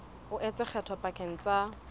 o etsa kgetho pakeng tsa